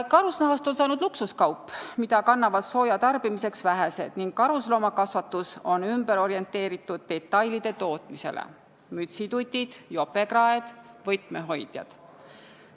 Karusnahast on saanud luksuskaup, mida kannavad sooja saamiseks vähesed, ning karusloomakasvatus on orienteerunud detailide tootmisele: mütsitutid, jopekraed, võtmehoidjad.